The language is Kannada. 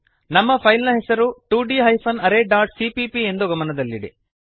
ನಮ್ಮ ಫೈಲ್ ನ ಹೆಸರು 2d arrayಸಿಪಿಪಿ ಎಂದು ಗಮನದಲ್ಲಿಡಿ